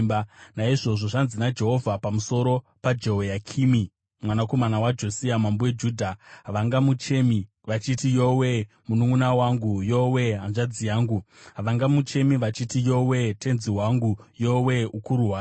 Naizvozvo zvanzi naJehovha, pamusoro paJehoyakimi mwanakomana waJosia, mambo weJudha: “Havangamuchemi vachiti: ‘Yowe-e, mununʼuna wangu! Yowe-e, hanzvadzi yangu!’ Havangamuchemi vachiti: ‘Yowe-e, tenzi wangu! Yowe-e, ukuru hwake!’